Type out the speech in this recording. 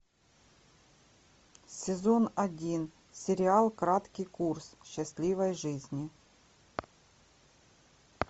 сезон один сериал краткий курс счастливой жизни